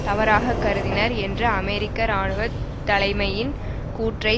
தவறாக கருதினர் என்ற அமெரிக்க இராணுவ தலைமையின் கூற்றை